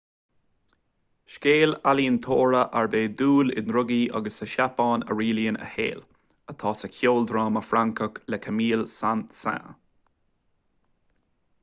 scéal ealaíontóra arb é dúil i ndrugaí agus sa tseapáin a rialaíonn a shaol atá sa cheoldráma francach le camille saint-saens